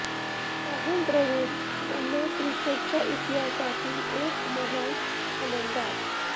राहुल द्रविड यांना क्रिकेटच्या इतिहासातील एक महान फलंदाज